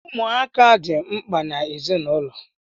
Ụmụaka di mkpa n’ezinụlọ